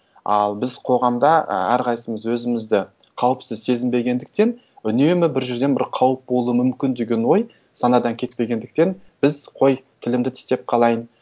ал біз қоғамда і әрқайсымыз өзімізді қауіпсіз сезінбегендіктен үнемі бір жерден бір қауіп болу мүмкін деген ой санадан кетпегендіктен біз қой тілімді тістеп қалайын